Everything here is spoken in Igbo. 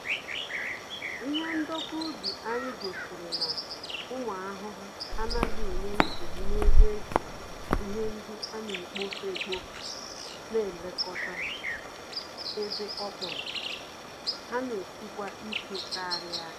Ihe ndekọ ubi anyị gosiri na, ụmụ ahụhụ anaghị enye nsogbu n'ebe ejiri ihe ndị anekpofu-ekpofu n'elekota, ebe okpòrò ha n'esikwa ike karịa